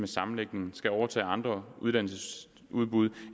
sammenlægningen skal overtage andre uddannelsesudbud